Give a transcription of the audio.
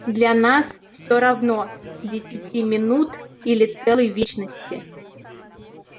для нас всё равно десяти минут или целой вечности